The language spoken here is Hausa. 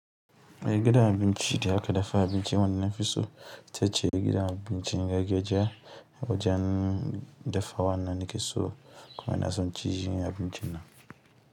Da gidan abinci da aka dafa abinci wannan fiso, ita ce gidan abinci gakeja da wajen dafa wannan nakeso kuma ina son ci abinci nan.